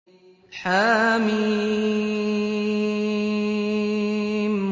حم